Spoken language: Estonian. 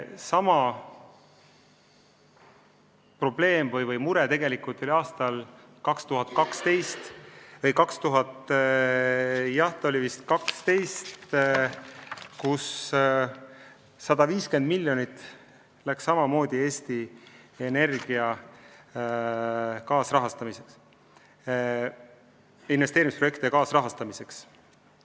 Sama probleem või mure oli aastal 2012, kui 150 miljonit läks Eesti Energia investeerimisprojektide kaasrahastamiseks.